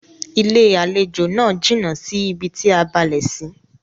Ilé-àlejò náà jìnà sí bi tí a balẹ̀ sí.